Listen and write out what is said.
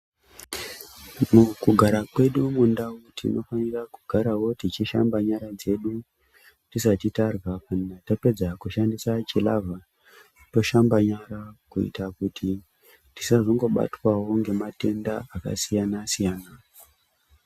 Mukugara kwedu mundau tinofanira kugarawo tichishamba nyara dzedu tisati tarya tapedza kushandisa chilavha toshamba nyara kuitira kuti tisazongobaywa ngematenda akasiyana siyana.